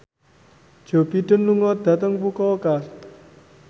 Joe Biden lunga dhateng Fukuoka